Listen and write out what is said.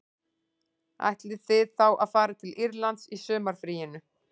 Ætlið þið þá að fara til Írlands í sumarfríinu